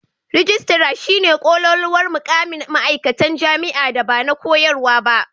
Rijistara shi ne kololuwar mukamin ma"aikatan jami'a da ba na koyarwa ba.